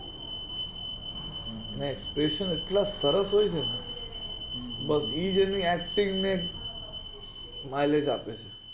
expresion એટલા સરસ હોય ને એજ એની acting ને highlight આપે